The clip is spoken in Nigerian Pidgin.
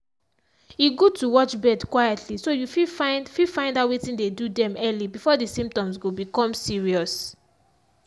e good to watch bird quietly so you fit find fit find out wetin dey do them early before the symptoms go become serious.